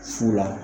Fu la